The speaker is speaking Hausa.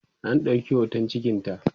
an ɗauki hoton cikinta